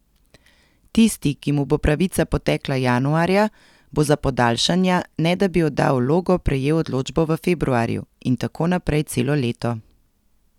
Tisti, ki mu bo pravica potekla januarja, bo za podaljšanja, ne da bi oddal vlogo, prejel odločbo v februarju, in tako naprej celo leto.